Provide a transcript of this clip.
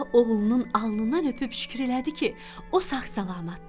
Padşah oğlunun alnından öpüb şükür elədi ki, o sağ-salamatdır.